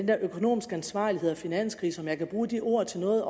der økonomiske ansvarlighed og finanskrise om jeg kan bruge de ord til noget